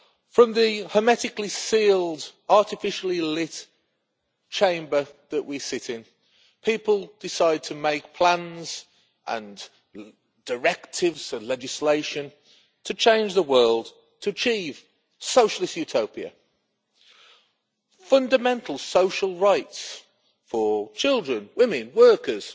From the hermetically sealed, artificially lit Chamber that we sit in, people decide to make plans and directives and legislation to change the world to achieve socialist utopia fundamental social rights for children, women and workers